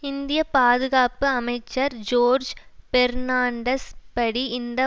இந்திய பாதுகாப்பு அமைச்சர் ஜோர்ஜ் பெர்ணாண்டஸ் படி இந்த